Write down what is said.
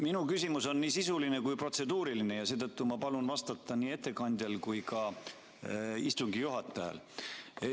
Minu küsimus on nii sisuline kui protseduuriline, seetõttu ma palun vastata ettekandjal ja ka istungi juhatajal.